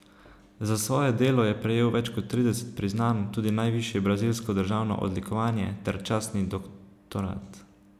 Za svoje delo je prejel več kot trideset priznanj, tudi najvišje brazilsko državno odlikovanje ter častni doktorat.